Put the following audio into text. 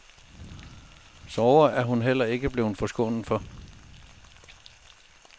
Sorger er hun heller ikke blevet forskånet for.